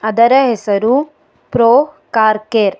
ಅದರ ಹೆಸರು pro car care .